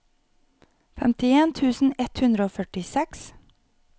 femtien tusen ett hundre og førtiseks